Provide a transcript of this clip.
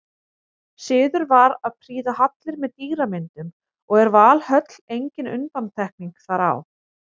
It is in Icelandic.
Siður var að prýða hallir með dýramyndum og er Valhöll engin undantekning þar á.